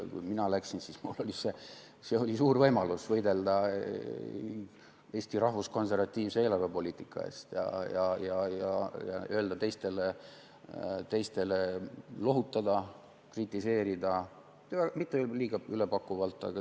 Kui mina läksin, siis see oli mulle suur võimalus võidelda Eesti rahvuskonservatiivse eelarvepoliitika eest ja teisi lohutada, kritiseerida, ütlen mitte liiga ülepakkuvalt.